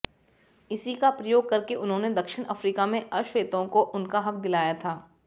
इसी का प्रयोग करके उन्होंने दक्षिण अफ्रीका में अश्वेतों को उनका हक दिलाया था